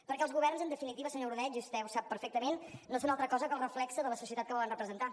perquè els governs en definitiva senyor ordeig i vostè ho sap perfectament no són altra cosa que el reflex de la societat que volen representar